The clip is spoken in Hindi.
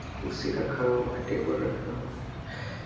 कुर्सी रखा हुआ है टेबल रखा हुआ है।